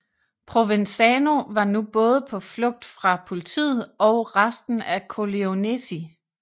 Provenzano var nu både på flugt fra politiet og resten af Corleonesi